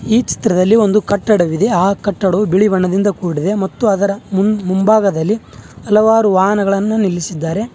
ಈ ಚಿತ್ರದಲ್ಲಿ ಒಂದು ಕಟ್ಟಡವಿದೆ ಆ ಕಟ್ಟಡವು ಬಿಳಿ ಬಣ್ಣದಿಂದ ಕೂಡಿದೆ ಮತ್ತು ಅದರ ಮುಂಭಾಗದಲ್ಲಿ ಹಲವಾರು ವಾಹನಗಳನ್ನು ನಿಲ್ಲಿಸಿದ್ದಾರೆ.